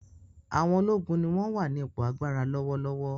Àwọn ológun ni wọ́n wà ní ipò agbára lọ́wọ́lọ́wọ́.